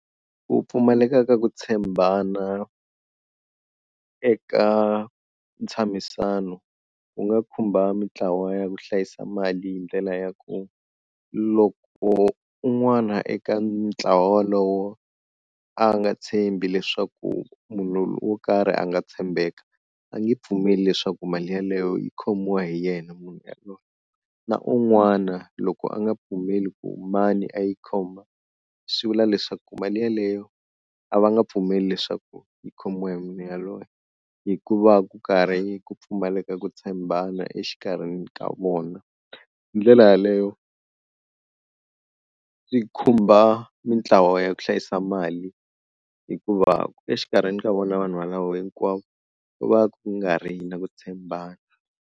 Ku pfumaleka ka ku tshembana eka ntshamisano wu nga khumba mintlawa ya ku hlayisa mali hi ndlela ya ku loko un'wana eka ntlawa wolowo a nga tshembi leswaku munhu wo karhi a nga tshembeka, a nge pfumeli leswaku mali yaleyo yi khomiwa hi yena munhu yaloye. Na un'wana loko a nga pfumeli ku mani a yi khoma swi vula leswaku mali yaleyo a va nga pfumeli leswaku yi khomiwa hi munhu yaloye hikuva ku karhi ku pfumaleka ku tshembana exikarhi ka vona. Hi ndlela yaleyo swi khumbha mintlawa ya ku hlayisa mali hikuva exikarhini ka vona vanhu valavo hinkwavo ku va ku nga ri na ku tshembana.